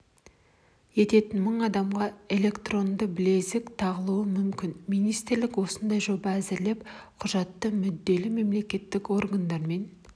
ететін мың адамға электронды білезік тағылуы мүмкін министрлік осындай жоба әзірлеп құжат мүдделі мемлекеттік органдармен